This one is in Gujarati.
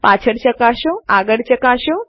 પાછળ ચકાસો આગળ ચકાસો